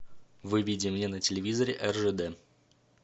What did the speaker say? выведи мне на телевизоре ржд